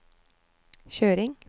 kjøring